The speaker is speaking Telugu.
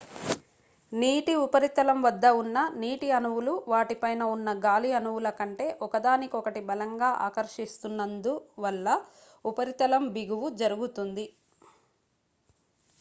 నీటి ఉపరితలం వద్ద ఉన్న నీటి అణువులు వాటి పైన ఉన్న గాలి అణువుల కంటే ఒకదానికొకటి బలంగా ఆకర్షిస్తున్నందు వల్ల ఉపరితల బిగువు జరుగుతుంది